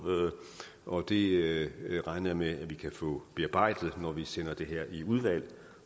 og det regner jeg med at vi kan få bearbejdet når vi sender det her i udvalget